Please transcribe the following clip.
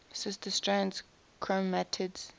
sister strands chromatids